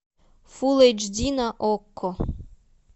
фулл эйч ди на окко